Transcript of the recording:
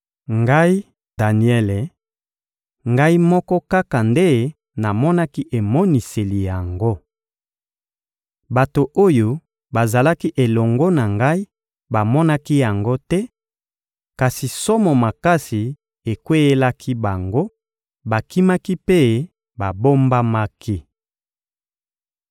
Ngai, Daniele, ngai moko kaka nde namonaki emoniseli yango. Bato oyo bazalaki elongo na ngai bamonaki yango te, kasi somo makasi ekweyelaki bango, bakimaki mpe babombamaki.